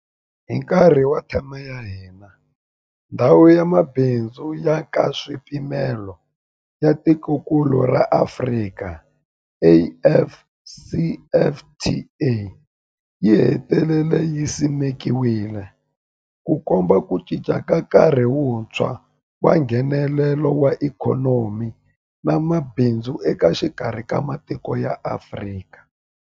Hi nkarhi wa theme ya hina, Ndhawu ya Mabindzu ya Nkaswipimelo ya Tikokulu ra Afrika AfCFTA yi hetelele yi simekiwile, Ku komba ku cinca ka nkarhi wuntshwa wa Nghenelelano wa ikhonomi na mabindzu exikarhi ka matiko ya Afrika.